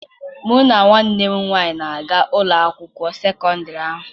Mụ na nwanne m nwaanyị na-aga ụlọ akwụkwọ sekọndịrị ahụ.